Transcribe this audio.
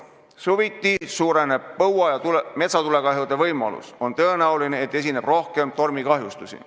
Suviti suureneb põua ja metsatulekahjude võimalus, ka on tõenäoline, et esineb rohkem tormikahjustusi.